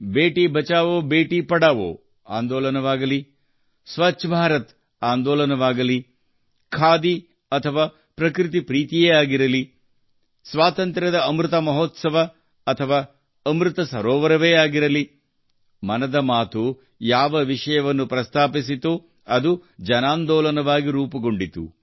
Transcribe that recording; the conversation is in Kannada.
ಭೇಟಿ ಬಚಾವೋ ಭೇಟಿ ಪಢಾವೋ ಆಂದೋಲನವಾಗಲಿ ಸ್ವಚ್ಛ ಭಾರತ ಆಂದೋಲನವಾಗಲಿ ಖಾದಿ ಅಥವಾ ಪ್ರಕೃತಿ ಪ್ರೀತಿಯೇ ಆಗಿರಲಿ ಸ್ವಾತಂತ್ರ್ಯದ ಅಮೃತ ಮಹೋತ್ಸವ ಅಥವಾ ಅಮೃತ ಸರೋವರವೇ ಆಗಿರಲಿ ಮನದ ಮಾತು ಯಾವ ವಿಷಯವನ್ನು ಪ್ರಸ್ತಾಪಿಸಿತೊ ಅದು ಜನಾಂದೋಲನವಾಗಿ ರೂಪುಗೊಂಡಿತು